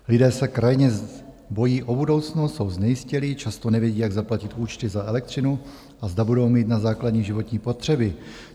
Lidé se krajně bojí o budoucnost, jsou znejistělí, často nevědí, jak zaplatit účty za elektřinu a zda budou mít na základní životní potřeby.